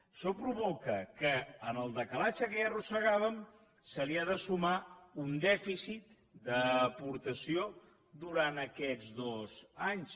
això provoca que al decalatge que ja arrossegàvem se li ha de sumar un dèficit d’aportació durant aquests dos anys